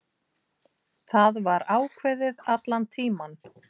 Það var ákveðið allan tímann.